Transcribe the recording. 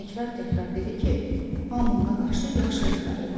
Və təkrar-təkrar dedi ki, hamı ona qarşı yaxşı rəftar eləyir.